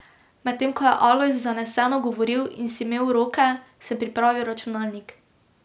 Medtem ko je Alojz zaneseno govoril in si mel roke, sem pripravil računalnik.